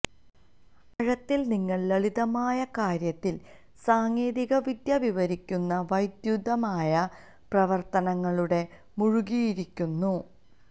ആഴത്തിൽ നിങ്ങൾ ലളിതമായ കാര്യത്തിൽ സാങ്കേതികവിദ്യ വിവരിക്കുന്ന വൈദ്യുതവുമായ പ്രവർത്തനങ്ങളുടെ മുഴുകിയിരിക്കുന്നു